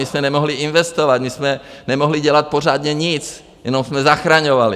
My jsme nemohli investovat, my jsme nemohli dělat pořádně nic, jenom jsme zachraňovali.